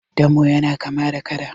damo yana kama da kada